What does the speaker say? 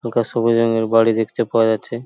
হালকা সবুজ রঙের বাড়ি দেখতে পাওয়া যাচ্ছে।